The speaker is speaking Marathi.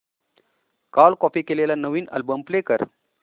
काल कॉपी केलेला नवीन अल्बम प्ले कर